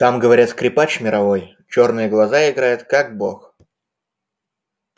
там говорят скрипач мировой чёрные глаза играет как бог